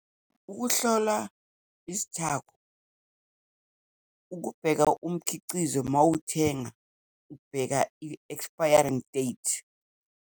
Ukuhlola izithako, ukubheka umkhiqizo uma uwuthenga, ubheka i-expiring date.